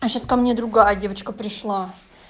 сейчас ко мне другая девочка пришла